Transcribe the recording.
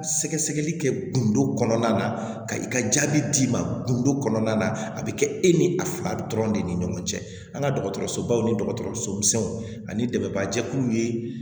Sɛgɛsɛgɛli kɛ gindo kɔnɔna na ka i ka jaabi d'i ma gindo kɔnɔna na a bɛ kɛ e ni a dɔrɔn de ni ɲɔgɔn cɛ an ka dɔgɔtɔrɔsobaw ni dɔgɔtɔrɔsomisɛnw ani dɛmɛba jɛkuluw ye